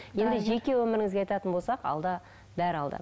енді жеке өміріңізге айтатын болсақ алда бәрі алда